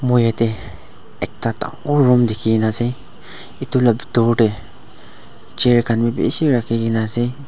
moi yadae ekta dangor room ekta dikikina asae etu la pitor dae chair khan bi bishi rakikina asae.